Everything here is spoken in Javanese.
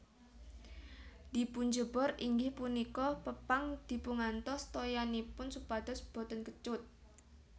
Dipunjebor inggih punika pepang dipungantos toyanipun supados boten kecut